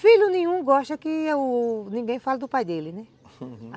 Filho nenhum gosta que o ninguém fale do pai dele, né? Uhum.